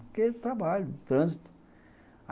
Porque é trabalho, trânsito.